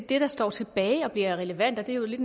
det der står tilbage og bliver relevant og det er jo lidt